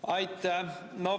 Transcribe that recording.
Aitäh!